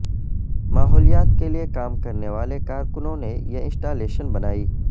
ماحولیات کے لیے کام کرنے والے کارکنوں نے یہ انسٹالیشن بنائی